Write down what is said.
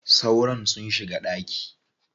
Sauron sun shiga ɗaki.